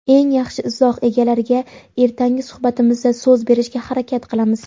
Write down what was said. eng yaxshi izoh egalariga ertangi suhbatimizda so‘z berishga harakat qilamiz.